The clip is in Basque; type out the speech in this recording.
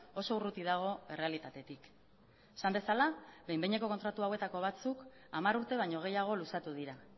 oso urruti dago errealitatetik esan bezala behin behineko kontratu hauetako batzuk hamar urte baino gehiago luzatu dira